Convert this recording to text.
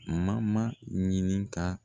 Ma maɲininka